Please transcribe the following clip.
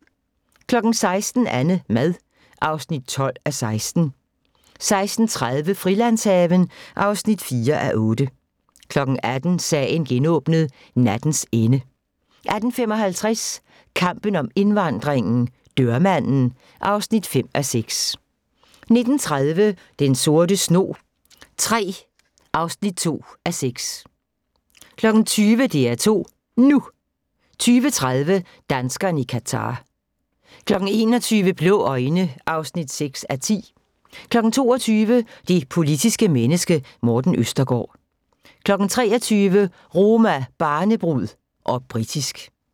16:00: AnneMad (12:16) 16:30: Frilandshaven (4:8) 18:00: Sagen genåbnet: Nattens ende 18:55: Kampen om indvandringen - dørmanden (5:6) 19:30: Den sorte snog III (2:6) 20:00: DR2 NU 20:30: Danskerne i Qatar 21:00: Blå øjne (6:10) 22:00: Det politiske menneske – Morten Østergaard 23:00: Roma, barnebrud - og britisk